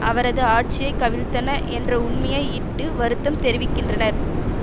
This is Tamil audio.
அவரது ஆட்சியை கவிழ்த்தன என்ற உண்மையை இட்டு வருத்தம் தெரிவித்திருக்கின்றனர்